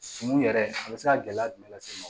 Sunu yɛrɛ a bɛ se ka gɛlɛya jumɛn lase